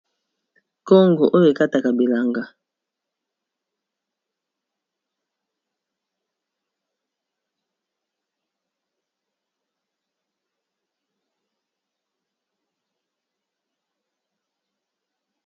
Kongo oyo e kataka bilanga .